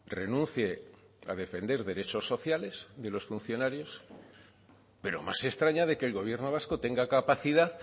renuncie a defender derechos sociales de los funcionarios pero más se extraña de que el gobierno vasco tenga capacidad